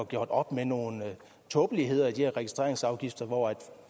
gjort op med nogle tåbeligheder i de her registreringsafgifter hvor